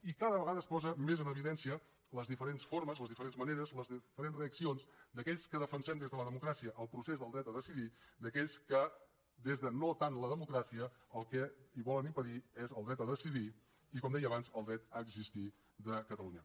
i cada vegada es posen més en evidència les diferents formes les diferents maneres les diferents reaccions d’aquells que defensem des de la democràcia el procés del dret a decidir d’aquells que des de no tant la democràcia el que volen impedir és el dret a decidir i com deia abans el dret a existir de catalunya